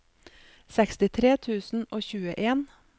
sekstitre tusen og tjueen